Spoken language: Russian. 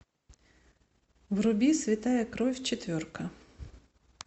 вруби святая кровь четверка